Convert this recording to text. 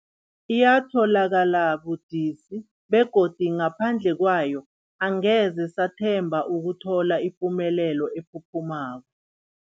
Yatholakala budisi, begodu ngaphandle kwayo angeze sathemba ukuthola ipumelelo ephuphumako.